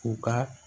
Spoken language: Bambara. U ka